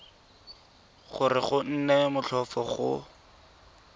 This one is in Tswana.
gore go nne motlhofo go